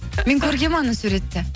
мен көргенмін анау суретті